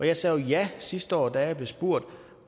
jeg sagde jo ja sidste år da jeg blev spurgt